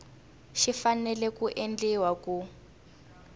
xi fanele ku endliwa ku